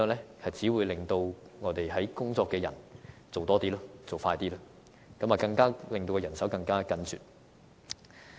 就是只會令正在工作的員工要做得更多、更快，令到人手更加緊絀。